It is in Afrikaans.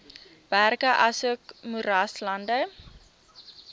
berge asook moeraslande